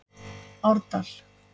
Árdal